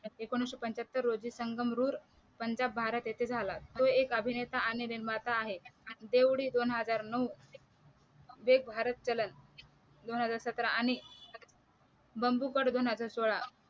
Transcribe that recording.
एकोणीशे पंच्याहत्तर रोजी संगम रुर पंजाब भारत येथे झाला तो एक अभिनेता आणि निर्माता आहे देव डी दोन हजार नऊ वेक भारत चलन दोन हजार सतरा आणि बंबूकत दोन हजार सोळा